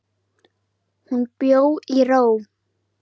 Hún bjó í ró.